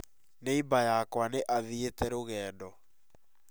Neiba yakwa nĩ athiĩte rũgendo